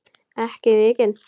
Ekki mikinn.